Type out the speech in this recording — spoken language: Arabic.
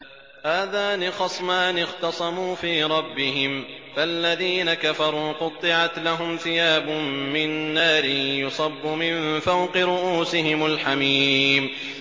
۞ هَٰذَانِ خَصْمَانِ اخْتَصَمُوا فِي رَبِّهِمْ ۖ فَالَّذِينَ كَفَرُوا قُطِّعَتْ لَهُمْ ثِيَابٌ مِّن نَّارٍ يُصَبُّ مِن فَوْقِ رُءُوسِهِمُ الْحَمِيمُ